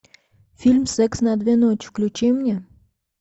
фильм секс на две ночи включи мне